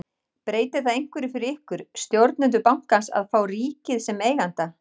Breytir það einhverju fyrir ykkur, stjórnendur bankans að fá ríkið sem eiganda?